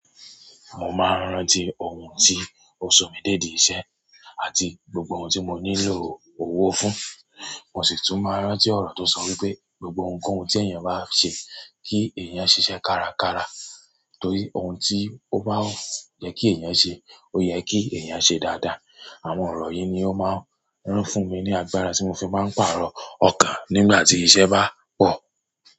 Mo máa ń rántí ohun tí òsùn mi dèdí ìṣe àti gbogbo ohun tí mo nílò owó fún. Mo sì tún máa ń rántí ọ̀rọ̀ tó sọ wípé gbogbo ohun kohun tí èèyàn bá ṣe kí èèyàn ṣiṣẹ́ kárakára torí ohun tí ó bá yẹ kí èèyàn ṣe, ó yẹ kí èèyàn ṣe dáadáa. Àwọn ọ̀rọ̀ yìí ni ó máa ń rán fún mi ní agbára tí mo fi máa ń pàrọ̀ ọkàn nígbà tí iṣẹ́ bá pọ̀.